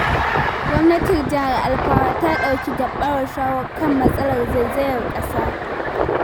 Gwamnatin Jihar Alfawa ta ɗauki gaɓaran shawo kan matsalar zaizayar ƙasa.